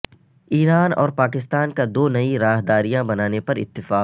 ایران اور پاکستان کا دو نئی راہداریاں بنانے پر اتفاق